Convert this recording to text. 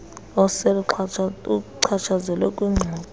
osel uchatshazelwe kwingxoxo